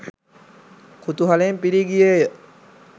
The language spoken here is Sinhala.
කුතුහලයෙන් පිරී ගියේය.